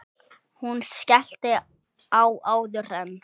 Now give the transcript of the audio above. Hún skellti á áður en